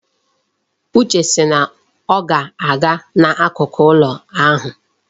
Uche si na ọ ga-aga n'akụkụ ụlọ ala ahụ.